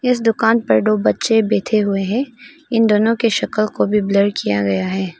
इस दुकान पर दो बच्चे बैठे हुए हैं इन दोनों के शक्ल को भी ब्लर किया गया है।